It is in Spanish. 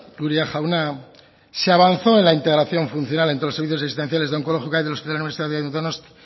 uria jauna se avanzó en la integración funcional en todos los servicios asistenciales de onkologikoa y del hospital universitario de donostia